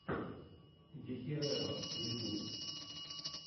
дехерера ютьюб